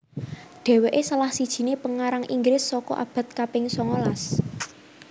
Dhéwéké salah sijiné pengarang Inggris saka abad kaping songolas